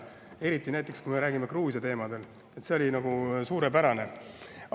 Eriti kui me räägime Gruusia teemal – see oli suurepärane!